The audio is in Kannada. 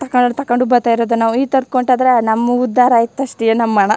ತಕೊಂಡ್ ತಕೊಂಡ್ ಬತ್ತಾ ಇರೋದು ನಾವು ಈ ತರ್ಕ್ ಹೊಂಟ್ಟೋದ್ರೆ ನಮ್ಮ್ ಉದ್ದಾರ್ ಆಯ್ತ್ ಅಷ್ಟೇ ನಮ್ಮ್ ಹಣ.